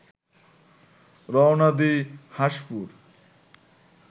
রওনা দিই হাঁসপুর